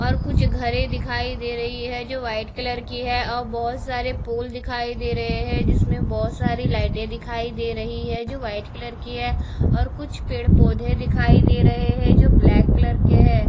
और कुछ घरे दिखाई दे रही है जो वाइट कलर की है और बहोत सारे पोल दिखाई दे रहे हैं जिसमें बहोत सारी लाइटे दिखाई दे रही है जो वाइट कलर की है और कुछ पेड़-पौधे दिखाई दे रहे हैं जो ब्लैक कलर के है।